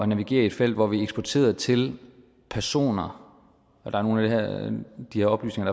navigere i et felt hvor vi eksporterede til personer der er nogle af de oplysninger